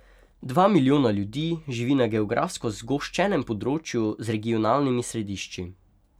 Dva milijona ljudi živi na geografsko zgoščenem področju z regionalnimi središči.